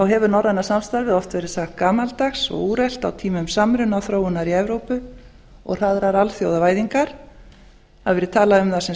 hefur norræna samstarfið oft verið sagt gamaldags og úrelt á tímum samrunaþróunar í evrópu og hraðrar alþjóðavæðingar það hefur verið talað um það sem